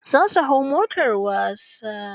Za su hau motar wasa.